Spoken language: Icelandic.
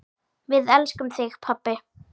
Við elskum þig, pabbi.